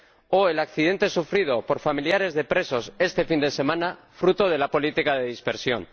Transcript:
o el accidente sufrido por familiares de presos este fin de semana, fruto de la política de dispersión.